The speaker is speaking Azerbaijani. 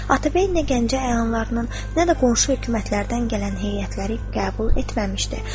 Atabəy nə Gəncə əyanlarının, nə də qonşu hökumətlərdən gələn heyətləri qəbul etməmişdi.